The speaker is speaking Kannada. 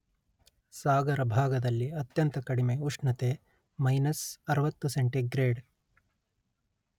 ಸಾಗರ ಭಾಗದಲ್ಲಿ ಅತ್ಯಂತ ಕಡಿಮೆ ಉಷ್ಣತೆ ಮಯ್ನಸ್ ಅರುವತ್ತು ಸೆಂಟಿಗ್ರೇಡ್